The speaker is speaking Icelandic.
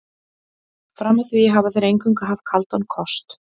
Fram að því hafa þeir eingöngu haft kaldan kost.